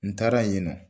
N taara yen nɔ